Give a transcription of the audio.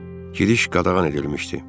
Giriş qadağan edilmişdi.